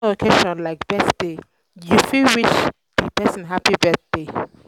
for personal occassion um like birthday you fit wish um di person um happy birthday